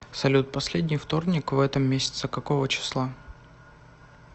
салют последний вторник в этом месяце какого числа